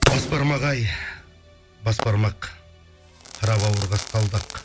бас бармақ ай бас бармақ қара бауыр қасқалдақ